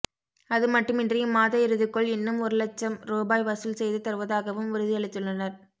அதுமட்டுமின்றி இம்மாத இறுதிக்குள் இன்னும் ஒரு லட்சம் ரூபாய் வசூல் செய்து தருவதாகவும் உறுதி அளித்துள்ளனர்